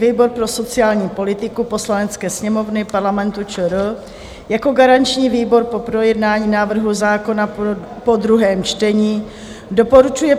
Výbor pro sociální politiku Poslanecké sněmovny Parlamentu ČR jako garanční výbor po projednání návrhu zákona po druhém čtení doporučuje